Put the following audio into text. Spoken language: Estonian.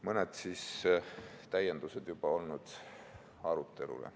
Mõned täiendused juba olnud arutelule.